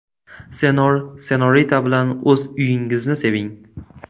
Senor&Senorita bilan o‘z uyingizni seving!